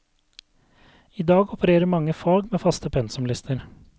I dag opererer mange fag med faste pensumlister.